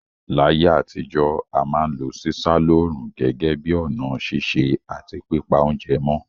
Láyé àtijọ́, a ma n lo sísá lóòrùn gẹ́gẹ́ bi ọ̀nà sise àti pípa ounje mó